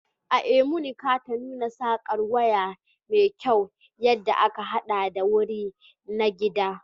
A Imo, Nnekata nuna sarƙar wuya me kyau wadda aka haɗa da wuri na gida.